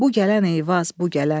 Bu gələn Eyvaz bu gələn.